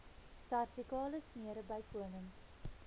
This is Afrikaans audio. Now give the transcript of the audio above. servikale smere bykomend